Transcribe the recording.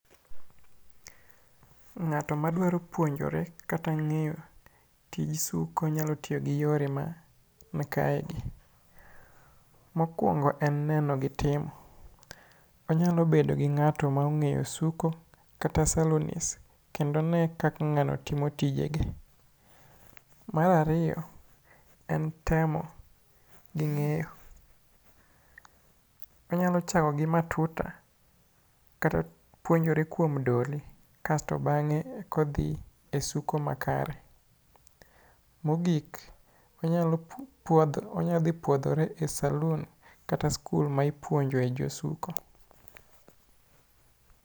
Ng'ato madwaro puonjore kata ng'eyo tij suko nyalo tiyo gi yore mankaegi; Mokwongo en neno gi timo. Onyalo bedo gi ng'ato ma ong'eyo suko kata salonist kendo one kaka ng'ano timo tijege. Mar ariyo en temo gi ng'eyo. Onyalo chako gi matuta kata piuonjore kuom doly kasto bang'e ekodhi e suko makare. Mogik, onya dhi puodhore e salun kata skul ma ipuonjoe josuko.